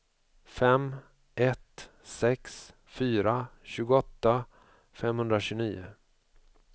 fem ett sex fyra tjugoåtta femhundratjugonio